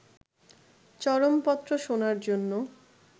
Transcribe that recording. চরমপত্র' শোনার জন্য